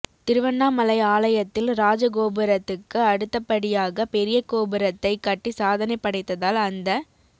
திருவண்ணாமலை ஆலயத்தில் ராஜகோபுரத்துக்கு அடுத்தப்படியாக பெரிய கோபுரத்தைக் கட்டி சாதனை படைத்ததால் அந்த